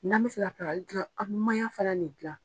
N'an bɛ fɛ ka pilakali tobi an bɛ mayan fana le dilan